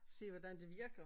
Se hvordan det virker